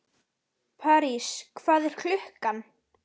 París, hvað er klukkan?